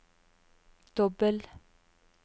dobbel